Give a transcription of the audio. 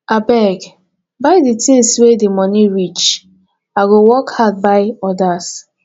abeg buy di tins wey di moni reach i go work hard buy odas